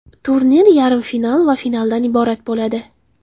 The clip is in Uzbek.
Turnir yarim final va finaldan iborat bo‘ladi.